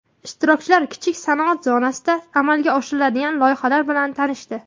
Ishtirokchilar kichik sanoat zonasida amalga oshiriladigan loyihalar bilan tanishdi.